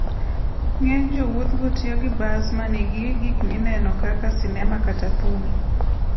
Ng'eny jowuothgo tiyo gi bas ma nigi gik mineno kaka sinema kata thum.